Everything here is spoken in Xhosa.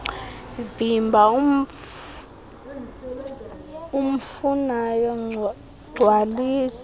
vimba umfunayo gcwalisa